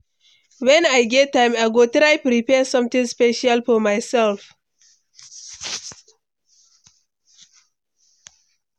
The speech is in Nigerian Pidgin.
Wen I get time, I go try prepare something special for myself.